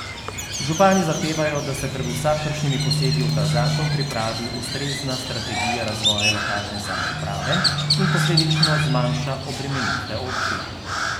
Župani zahtevajo, da se pred vsakršnimi posegi v ta zakon pripravi ustrezna strategija razvoja lokalne samouprave in posledično zmanjša obremenitve občin.